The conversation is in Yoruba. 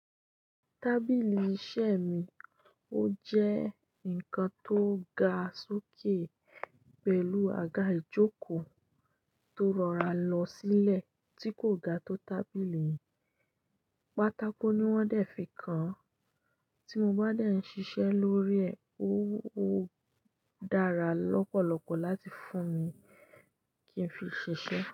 Tábìlì iṣẹ́ mi, ó jẹ́ ǹkan tó ga sókè pẹ̀lú àga ìjókòó tó rọra lọ sílẹ̀ tí kò ga tó tábìlì. Pátákó ni wọ́n dẹ̀ fi kàn án. Tí mo bá de ń ṣiṣẹ́ lórí ẹ̀, ó dára lọ́pọ̀lọpọ̀ láti fún mi kí n fi ṣiṣẹ́.